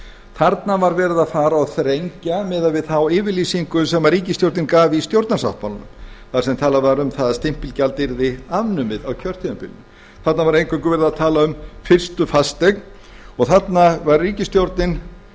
þarna var verið að fara og þrengja miðað við þá yfirlýsingu sem ríkisstjórnin af í stjórnarsáttmálanum þar sem talað var um það að stimpilgjald yrði afnumið á kjörtímabilinu þarna var eingöngu verið að tala um fyrstu fasteign og þarna var ríkisstjórnin